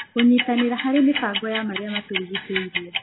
kũnyitanĩra harĩ mĩbango ya marĩa matũrigicĩirie.